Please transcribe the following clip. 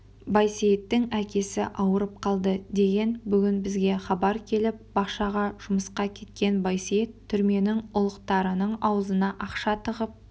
байсейіттің әкесі ауырып қалды деп бүгін бізге хабар келіп бақшаға жұмысқа кеткен байсейіт түрменің ұлықтарының аузына ақша тығып